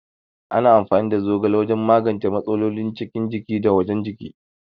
Ana amfani da zogala wajan magance matsalolin cikin jiki da wajan jiki